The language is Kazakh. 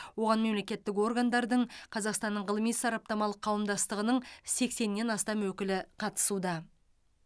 оған мемлекеттік органдардың қазақстанның ғылыми сараптамалық қауымдастығының сексеннен астам өкілі қатысуда